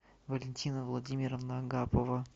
валентина владимировна агапова